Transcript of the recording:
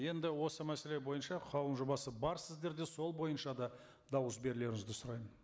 енді осы мәселе бойынша қаулының жобасы бар сіздерде сол бойынша да дауыс берулеріңізді сұраймын